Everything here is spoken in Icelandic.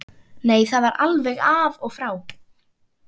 Nei, það var alveg af og frá.